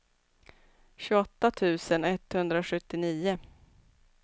tjugoåtta tusen etthundrasjuttionio